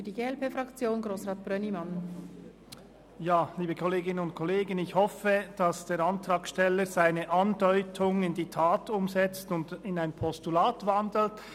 Ich hoffe, dass der Antragsteller seine Andeutung in die Tat umsetzt und in ein Postulat umwandelt.